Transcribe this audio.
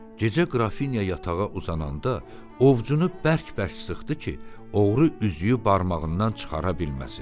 Gecə Qrafinya yatağa uzananda ovcunu bərk-bərk sıxdı ki, oğru üzüyü barmağından çıxara bilməsin.